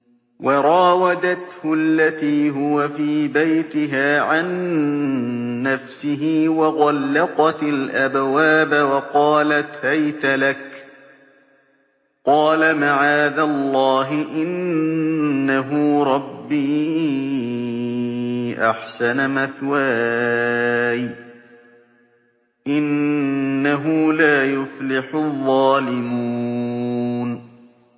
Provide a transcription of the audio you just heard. وَرَاوَدَتْهُ الَّتِي هُوَ فِي بَيْتِهَا عَن نَّفْسِهِ وَغَلَّقَتِ الْأَبْوَابَ وَقَالَتْ هَيْتَ لَكَ ۚ قَالَ مَعَاذَ اللَّهِ ۖ إِنَّهُ رَبِّي أَحْسَنَ مَثْوَايَ ۖ إِنَّهُ لَا يُفْلِحُ الظَّالِمُونَ